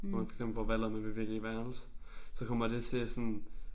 Hvor man for eksempel for valg om vil vælge værelse. Så kommer det til sådan